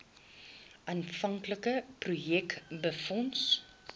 aanvanklike projek befonds